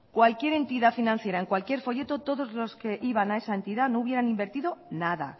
cualquier entidad financiera en cualquier folleto todos los que iban a esa entidad no hubieran invertido nada